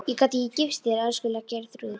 Ég gat ekki gifst þér, elskulega Geirþrúður mín.